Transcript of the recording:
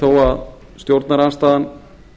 þó að stjórnarandstaðan